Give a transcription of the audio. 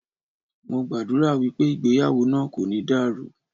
Mo gbàdúrà wípé ìgbéyàwó náà kò ní dàrú.